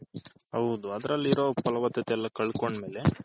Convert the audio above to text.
ಹೌದು ಅದರಲ್ಲೀರೋ ಪಳವಥಥೆ ಎಲ್ಲಾ ಕಳ್ಕೊಂಡ್ಮೇಲೆ